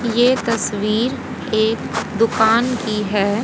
यह तस्वीर एक दुकान की है।